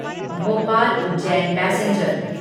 Bhopal Ujjain passenger